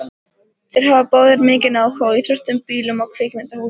Þeir hafa báðir mikinn áhuga á íþróttum, bílum og kvikmyndahúsum.